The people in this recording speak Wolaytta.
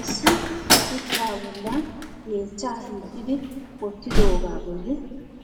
Issi shuchcha bollan yeechcha hiixxi wottidooga bolli